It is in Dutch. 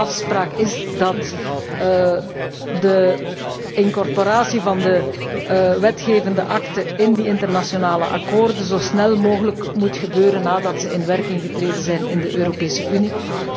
Maar de afspraak is dat de incorporatie van de wetgevende akte in die internationale akkoorden zo snel mogelijk moet gebeuren nadat zij in werking getreden zijn in de Europese Unie.